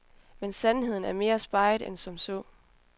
Men sandheden er mere speget end som så.